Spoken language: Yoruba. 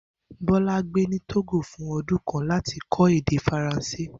Bó̩lá gbé ni Tógò fún o̩dún kan láti kó̩ èdè Faransé